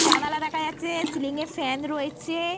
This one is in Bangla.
জানালা দেখা যাচ্ছে। সিলিং -এ ফ্যান রয়েছে।